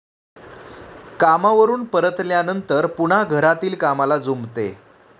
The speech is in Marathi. कामावरून परतल्यानंतर पुन्हा घरातील कामाला जुंपते.